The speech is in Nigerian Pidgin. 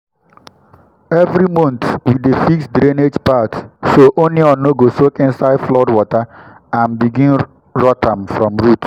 every month we dey fix drainage path so onion no go soak inside flood water and begin rot from root.